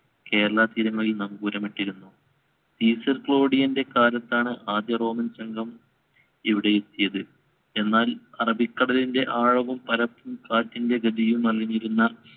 കേരളതീരം വഴി നങ്കൂരമിട്ടിരുന്നു. സീസർ കാലത്താണ് ആദ്യറോമൻ സംഘം ഇവിടെ എത്തിയത്. എന്നാൽ അറബിക്കടലിന്‍റെ ആഴവും പരപ്പും കാറ്റിന്‍റെ ഗതിയും അറിഞ്ഞിരുന്ന